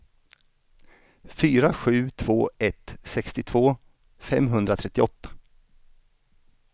fyra sju två ett sextiotvå femhundratrettioåtta